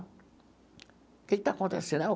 O que está acontecendo?